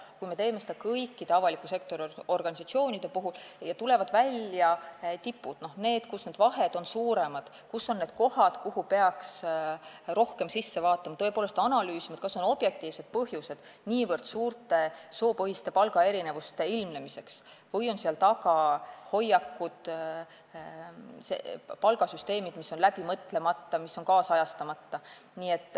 Kui me teeme seda kõikide avaliku sektori organisatsioonide kohta, siis tulevad välja tipud, need, kus vahed on suuremad, selguvad kohad, mida peaks rohkem vaatama ja analüüsima, kas on objektiivseid põhjuseid niivõrd suurte soopõhiste palgaerinevuste ilmnemiseks või on seal taga hoiakud, palgasüsteemid, mis on läbi mõtlemata ja nüüdisajastamata.